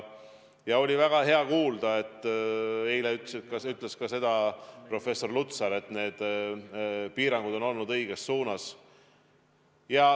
Oli väga hea kuulda, et eile ütles ka professor Lutsar, et piirangud on tehtud õiges suunas.